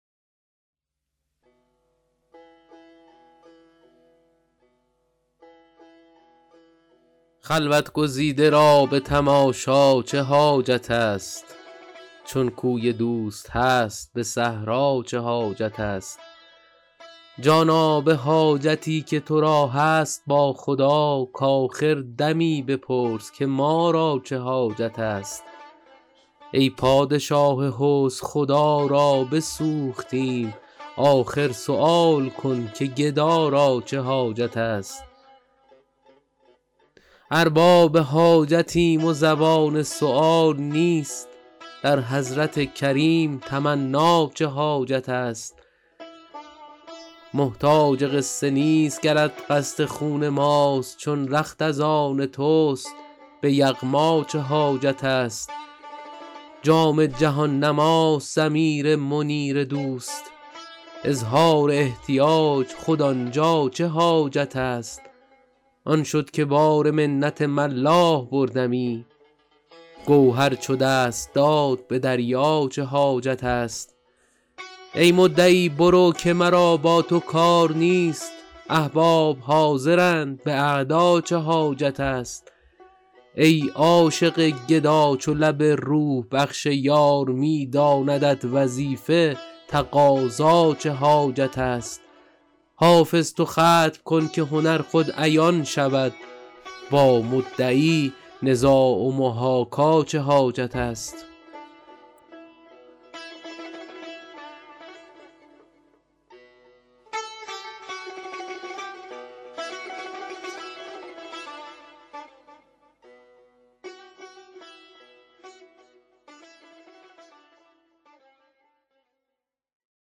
خلوت گزیده را به تماشا چه حاجت است چون کوی دوست هست به صحرا چه حاجت است جانا به حاجتی که تو را هست با خدا کآخر دمی بپرس که ما را چه حاجت است ای پادشاه حسن خدا را بسوختیم آخر سؤال کن که گدا را چه حاجت است ارباب حاجتیم و زبان سؤال نیست در حضرت کریم تمنا چه حاجت است محتاج قصه نیست گرت قصد خون ماست چون رخت از آن توست به یغما چه حاجت است جام جهان نماست ضمیر منیر دوست اظهار احتیاج خود آن جا چه حاجت است آن شد که بار منت ملاح بردمی گوهر چو دست داد به دریا چه حاجت است ای مدعی برو که مرا با تو کار نیست احباب حاضرند به اعدا چه حاجت است ای عاشق گدا چو لب روح بخش یار می داندت وظیفه تقاضا چه حاجت است حافظ تو ختم کن که هنر خود عیان شود با مدعی نزاع و محاکا چه حاجت است